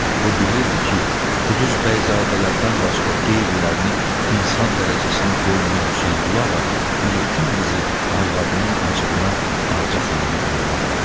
O bilirdi ki, Quduz bəyzadələrdən başqa qeyrilərini insan dərəcəsinə qoymayan Hüseynquluğa bu yetim qızı arvadının acığına Ağca xanımı yanına buraxır.